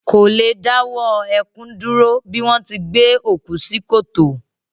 Kò le dáwọ́ ẹkún dúró bí wọ́n ti gbé òkú sí kòtò